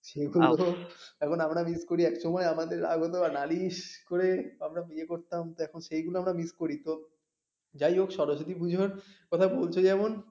সেগুলো এখন আমরা miss করি এক সময় আমাদের রাগ হতো আর নালিশ করে আমরা ইয়ে করতাম এখন সেইগুলো আমরা miss করি তো যাই হোক সরস্বতী পূজোর বলতে যেমন